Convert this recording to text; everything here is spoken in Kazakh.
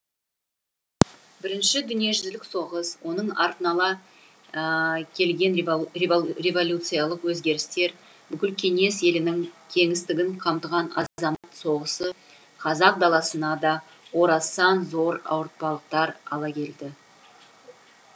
бірінші дүниежүзілік соғыс оның артын ала келген революциялық өзгерістер бүкіл кеңес елінің кеңістігін қамтыған азамат соғысы қазақ даласына да орасан зор ауыртпалықтар ала келді